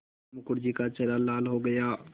मुखर्जी का चेहरा लाल हो गया